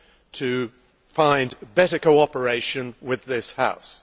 to find better cooperation with this House.